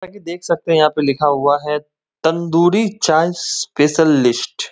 ताकि देख सकते हैं यहां पर लिखा हुआ है तंदूरी चाय स्पेशल लिस्ट ।